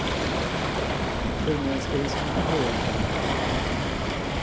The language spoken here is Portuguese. Então, era tudo... Foi uma experiência muito boa para mim. Uhum.